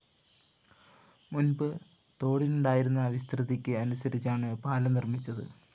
മുന്‍പ് തോടിനുണ്ടായിരുന്ന വിസ്തൃതിക്ക് അനുസരിച്ചാണ് പാലം നിര്‍മ്മിച്ചത്